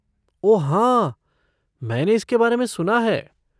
ओह हाँ, मैंने इसके बारे में सुना है।